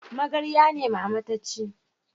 Magarya ne mama ta ci